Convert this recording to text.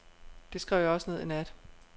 Det skrev jeg også ned i nat.